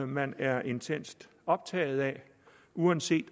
man er intenst optaget af uanset